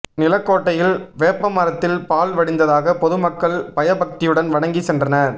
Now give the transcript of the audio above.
நிலக்கோட்டையில் வேப்பமரத்தில் பால் வடிந்ததாக பொதுமக்கள் பயபக்தியுடன் வணங்கி சென்றனர்